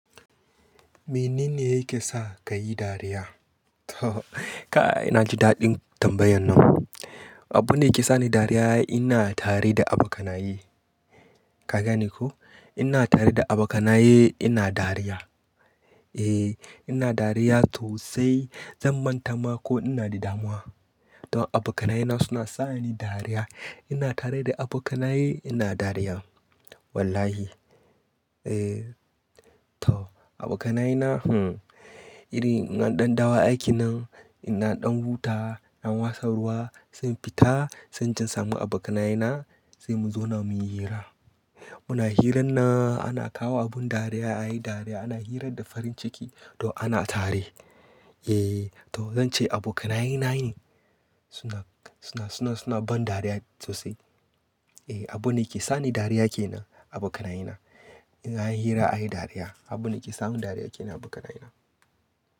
Menene yake sa ka yi dariya? To, ka'a ina ji daɗin tambayan nan. Abunda ke sani dariya ina tare da abokanaye. Ka gane ko? Ina tare da abokanaye ina dariya. E, ina dariya to sai zan manta ma ko ina da damuwa. To abokanayena suna sa ni dariya. Ina tare da abokanaye ina dariya. Wallahi. E, to abokanayena, uhm, irin an ɗan dawo aiki nan, ina ɗan wuta, ɗan wasa ruwa sun fita sun je samu abokanayena sai mu zauna muyi hira. Muna hirar na ana kawo abun dariya, ayi dariya ana hira da farin ciki to ana tare. E, to zan ce abokanayena ne suna, suna, suna, suna ban dariya sosai. E, abune yake sani dariya ke nan abokanayena. In anyi hira ayi dariya abune yake sa mu dariya ke nan abokanayena.